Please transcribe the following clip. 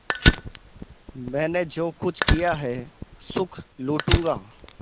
मैंने जो कुछ किया है सुख लूटूँगा